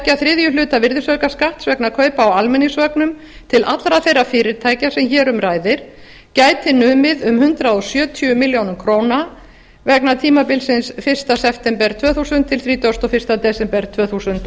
tveir þriðju hluta virðisaukaskatts vegna kaupa á almenningsvögnum til allra þeirra fyrirtækja sem hér um ræðir gæti numið um hundrað sjötíu milljónum króna vegna tímabilsins fyrsta september tvö hundruð til þrítugasta og fyrsta desember tvö þúsund